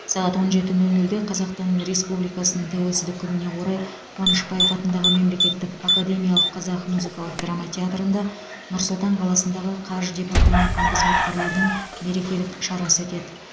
сағат он жеті нөл нөлде қазақтан республикасының тәуелсіздік күніне орай қ қуанышбаев атындағы мемлекеттік академиялық қазақ музыкалық драма театрында нұр сұлтан қаласындағы қаж департаментінің қызметкерлерінің мерекелік шарасы өтеді